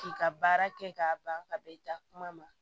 K'i ka baara kɛ k'a ban ka bɛn i da kuma ma